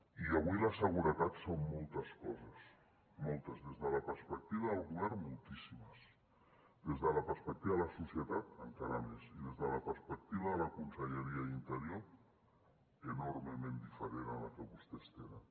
i avui la seguretat són moltes coses moltes des de la perspectiva del govern moltíssimes des de la perspectiva de la societat encara més i des de la perspectiva de la conselleria d’interior enormement diferent a la que vostès tenen